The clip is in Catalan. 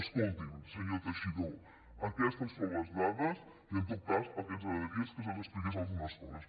escolti’m senyor teixidó aquestes són les dades i en tot cas el que ens agradaria és que se’ns expliquessin algunes coses